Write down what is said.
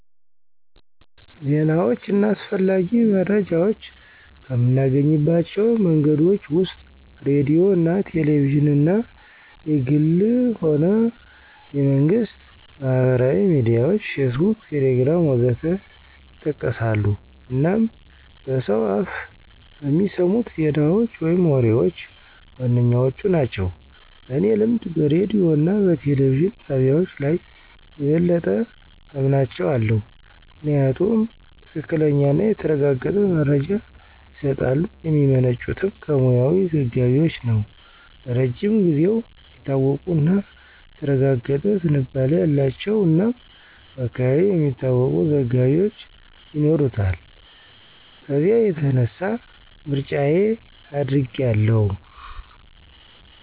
ዜናዎች እና አስፈላጊ መረጃዎች ከምናገኝባቸው መንገዶች ወስጥ ሬዲዮ አና ቴሌቪዥንና(የግልም ሆነ የመንግስት)፣ማህበራዊ ሚዲያዎች (ፌስቡክ፣ ቴሌግራም.... ወዘት) ይጠቀሳሉ አናም በሰው አፍ በሚሰሙት ዜናዎች ወይም ወሬዎች ዋነኛዎቹ ናቸው። በኔ ልምድ በሬዲዮ እና በቴሌቪዥን ጣቢያዎች ላይ የበለጠ አምናቸው አለው። ምክንያቱም ትክክለኛና የተረጋገጠ መረጃ ይስጣሉ፣ የሚመነጩት ከሙያዊ ዘጋቢዎች ነው፣ ለረጅም ጊዜው የታወቁ እና የተረጋገጠ ዝንባሌ አላቸው እናም በአካባቢው የሚታወቁ ዘጋቢዎች ይኖሩታል ከዚያ የተነሳ ምርጫየ አድርጋው አለሁ።